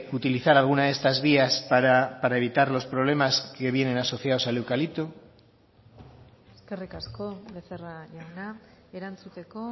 utilizar alguna de estas vías para evitar los problemas que vienen asociados al eucalipto eskerrik asko becerra jauna erantzuteko